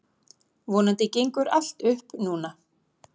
Vonandi gengur allt upp núna.